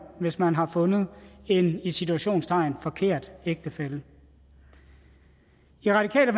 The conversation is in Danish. hvis man har fundet en i citationstegn forkert ægtefælle i radikale